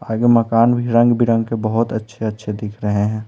आगे मकान भी रंग-बिरंग के बहुत अच्छे-अच्छे दिख रहे हैं।